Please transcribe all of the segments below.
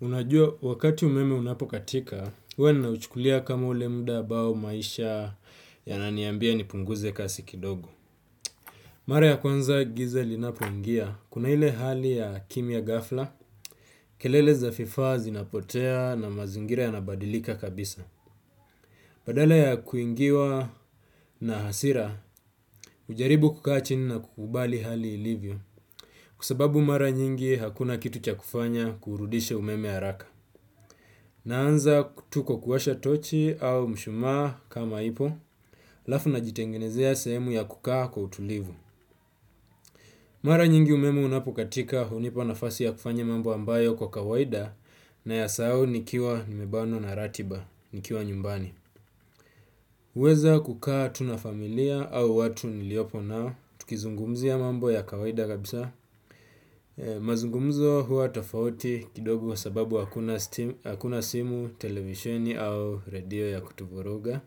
Unajua wakati umeme unapokatika, huwa nauchukulia kama ule muda ambao maisha yananiambia nipunguze kasi kidogo. Mara ya kwanza giza linapoingia, kuna ile hali ya kimya ghafla, kelele za vifaa zinapotea na mazingira yana badilika kabisa. Badala ya kuingiwa na hasira, hujaribu kukaa chini na kukubali hali ilivyo, kwa sababu mara nyingi hakuna kitu cha kufanya kuurudisha umeme haraka. Naanza tu kwa kuwasha tochi au mshumaa kama iko halafu najitengenezea sehemu ya kukaa kwa utulivu. Mara nyingi umemu unapokatika hunipa nafasi ya kufanya mambo ambayo kwa kawaida nayasahau nikiwa nimebanwa na ratiba, nikiwa nyumbani. Uwezo wa kukaa tu na familia au watu niliopo nao, tukizungumzia mambo ya kawaida kabisa. Mazungumzo huwa tafauti kidogo sababu hakuna simu, televisheni au radio ya kutuvuruga.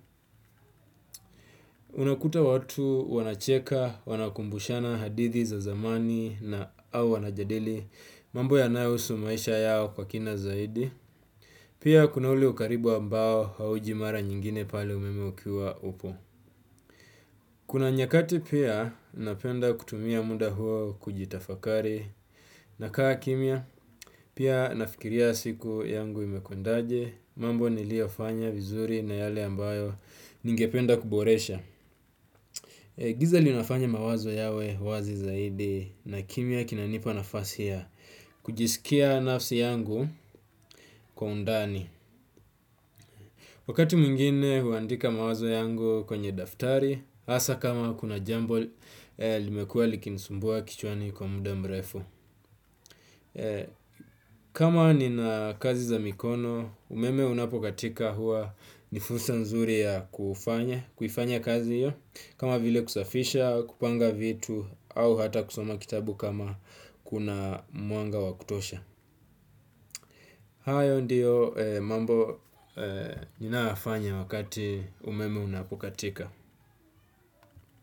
Unakuta watu wanacheka, wanakumbushana hadithi za zamani na au wanajadili mambo yanayohusu maisha yao kwa kina zaidi. Pia kuna ule ukaribu ambao hauji mara nyingine pale umeme ukiwa upo. Kuna nyakati pia napenda kutumia muda huo kujitafakari. Na kaa kimya, pia nafikiria siku yangu imekwendaje. Mambo niliyofanya vizuri na yale ambayo ningependa kuboresha. Giza linafanya mawazo yawe wazi zaidi na kimya kinanipa nafasi ya kujiskia nafsi yangu kwa undani. Wakati mwingine huandika mawazo yangu kwenye daftari hasa kama kuna jambo limekuwa likinisumbua kichwani kwa muda mrefu. Kama nina kazi za mikono umeme unapokatika huwa ni fursa nzuri ya kufanya kuifanya kazi hiyo kama vile kusafisha kupanga vitu au hata kusoma kitabu kama kuna mwanga wa kutosha. Hayo ndiyo mambo ninayoyafanya wakati umeme unapokatika.